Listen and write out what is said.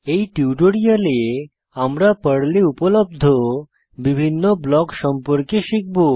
এই টিউটোরিয়ালে আমরা পর্লে উপলব্ধ বিভিন্ন ব্লক সম্পর্কে শিখব